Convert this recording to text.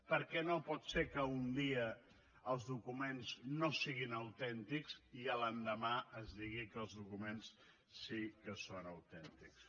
perquè no pot ser que un dia els documents no siguin autèntics i l’endemà es digui que els documents sí que són autèntics